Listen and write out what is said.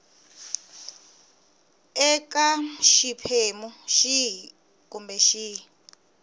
eka xiphemu xihi kumbe xihi